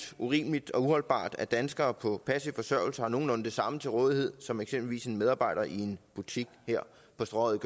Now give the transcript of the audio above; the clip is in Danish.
urimeligt og uholdbart at danskere på passiv forsørgelse har nogenlunde det samme til rådighed som eksempelvis en medarbejder i en butik her på strøget